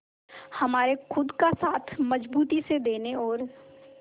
हमारे खुद का साथ मजबूती से देने और